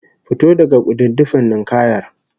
Fito daga kududdufin ninkayar!